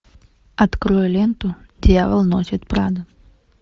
открой ленту дьявол носит прада